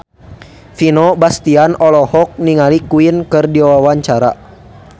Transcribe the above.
Vino Bastian olohok ningali Queen keur diwawancara